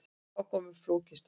Þá kom upp flókin staða.